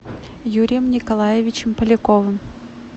юрием николаевичем поляковым